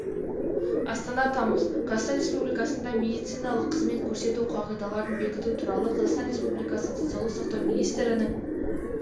астана тамыз қазақстан республикасында медициналық қызмет көрсету қағидаларын бекіту туралы қазақстан республикасы денсаулық сақтау министрінің